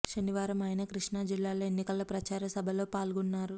శనివారం ఆయన కృష్ణా జిల్లాలో ఎన్నికల ప్రచార సభల్లో పాల్గొ న్నారు